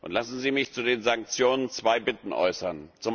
Lassen Sie mich zu den Sanktionen zwei Bitten äußern.